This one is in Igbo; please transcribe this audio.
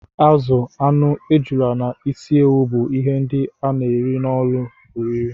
Azụ, anụ, ejula na ịsị ewụ bú ihe ndị a na-ere n'ụlọ oriri